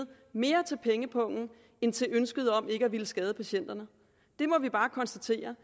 mere til pengepungen end til ønsket om ikke at ville skade patienterne det må vi bare konstatere